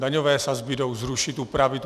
Daňové sazby jdou zrušit, upravit.